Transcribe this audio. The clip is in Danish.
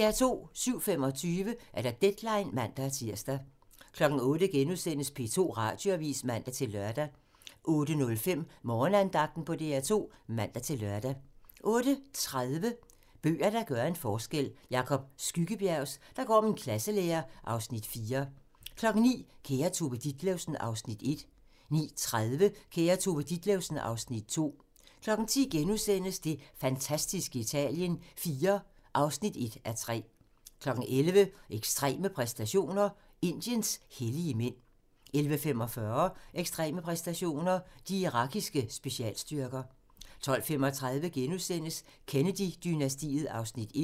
07:25: Deadline (man-tir) 08:00: P2 Radioavis *(man-lør) 08:05: Morgenandagten på DR2 (man-lør) 08:30: Bøger, der gør en forskel - Jacob Skyggebjergs "Der går min klasselærer" (Afs. 4) 09:00: Kære Tove Ditlevsen (Afs. 1) 09:30: Kære Tove Ditlevsen (Afs. 2) 10:00: Det fantastiske Italien IV (1:3)* 11:00: Ekstreme præstationer: Indiens hellige mænd 11:45: Ekstreme præstationer: De irakiske specialstyrker 12:35: Kennedy-dynastiet (Afs. 1)*